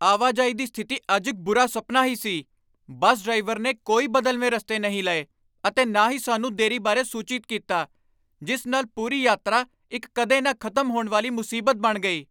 ਆਵਾਜਾਈ ਦੀ ਸਥਿਤੀ ਅੱਜ ਇੱਕ ਬੁਰਾ ਸੁਪਨਾ ਹੀ ਸੀ। ਬੱਸ ਡਰਾਈਵਰ ਨੇ ਕੋਈ ਬਦਲਵੇਂ ਰਸਤੇ ਨਹੀਂ ਲਏ ਅਤੇ ਨਾ ਹੀ ਸਾਨੂੰ ਦੇਰੀ ਬਾਰੇ ਸੂਚਿਤ ਕੀਤਾ, ਜਿਸ ਨਾਲ ਪੂਰੀ ਯਾਤਰਾ ਇੱਕ ਕਦੇ ਨਾ ਖ਼ਤਮ ਹੋਣ ਵਾਲੀ ਮੁਸੀਬਤ ਬਣ ਗਈ!